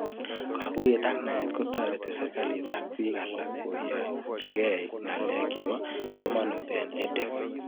Kakuyet ak naet kotareti serikalit ak pik alak koyanchikei ng'alek chepo kamanut eng' EdTech